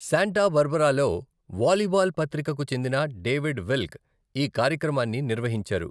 Santa బార్బరాలో volleyball పత్రికకు చెందిన డేవిడ్ విల్క్, ఈ కార్యక్రమాన్ని నిర్వహించారు.